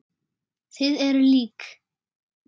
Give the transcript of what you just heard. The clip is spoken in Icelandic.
Þið eruð lík.